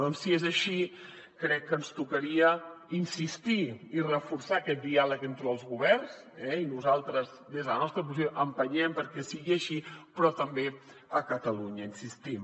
doncs si és així crec que ens tocaria insistir i reforçar aquest diàleg entre els governs eh i nosaltres des de la nostra posició empenyem perquè sigui així però també a catalunya hi insistim